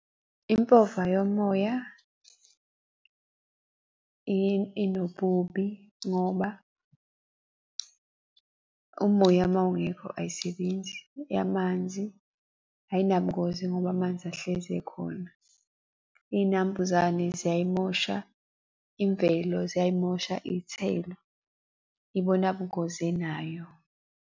Impova yomoya inobubi ngoba umoya mawungekho ayisebenzi. Eyamanzi ayinabungozi ngoba amanzi ahlezi ekhona. Iy'nambuzane ziyayimosha imvelo, ziyayimosha iy'thelo. Ibona bungozi enayo.